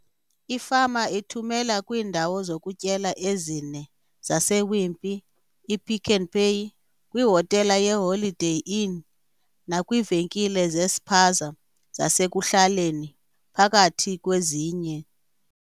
Ifama ithumela kwiindawo zokutyela ezine zase-Wimpy, i-Pick n Pay, kwi hotela ye-Holiday Inn nakwiivenkile zespaza zasekuhlaleni, phakathi kwezinye.